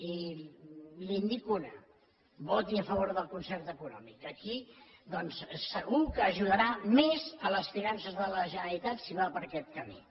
i li’n dic una voti a favor del concert econòmic aquí doncs segur que ajudarà més les finances de la generalitat si va per aquest camí